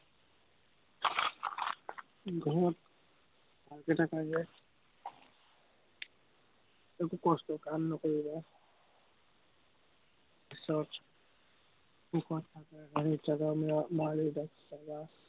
ঘৰত এটা পাই যায় একো কষ্টৰ কাম নকৰিবা সুখত থাকা, মা-দেউতাক চাবা